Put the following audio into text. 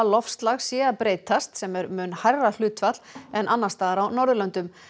loftslag sé að breytast sem er mun hærra hlutfall en annars staðar á Norðurlöndum